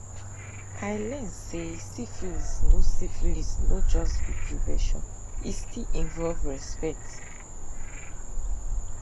i learn say syphilis no syphilis no just be prevention e still involve respect